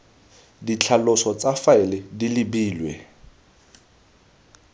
ditlhaloso tsa faele di lebilwe